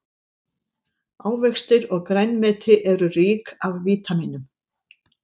Ávextir og grænmeti eru rík af vítamínum.